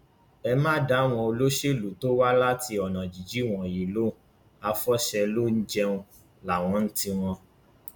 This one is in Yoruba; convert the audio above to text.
ẹ má dá àwọn olóṣèlú tó wá láti ọnà jínjìn wọnyí lóhun àfọṣẹlùjẹun láwọn ní tiwọn